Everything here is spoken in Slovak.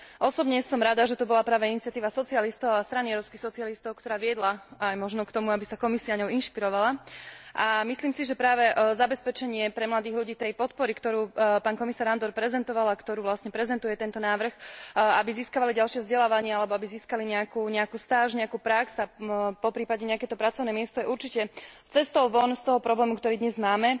Osobne som rada, že to bola práve iniciatíva socialistov a Strany európskych socialistov, ktorá viedla aj možno k tomu, aby sa Komisia ňou inšpirovala, a myslím si, že práve zabezpečenie pre mladých ľudí tej podpory, ktorú pán komisár Andor prezentoval a ktorú vlastne prezentuje tento návrh, aby získavali ďalšie vzdelávanie alebo aby získali nejakú stáž, nejakú prax, poprípade nejaké to pracovné miesto, je určite cestou von z toho problému, ktorý dnes máme.